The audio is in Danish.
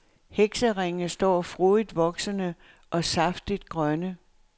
Hekseringe står frodigt voksende, og saftigt grønne.